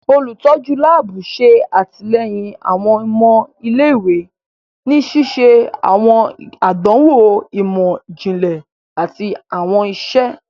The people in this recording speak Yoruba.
Olutọju laabu ṣe atilẹyin awọn ọmọ ilé-ìwé ni ṣiṣe awọn àdánwò imọ-jinlẹ àti awọn iṣe.